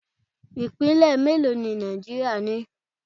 Ipinle mélòó ni Nàìjíríà ni?